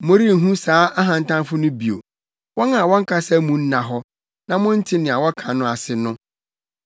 Morenhu saa ahantanfo no bio, wɔn a wɔn kasa mu nna hɔ, na monte nea wɔka no ase no.